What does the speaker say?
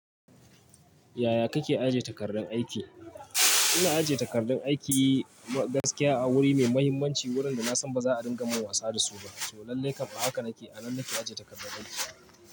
Yaya kake ajiye takardun aiki? Ina ajiye takardun aiki gaskiya a wuri mai muhimmanci wurin da na san ba za a dinga mun wasa da su ba, to lallai kam a haka nake a nan nake ajiye takardun aiki.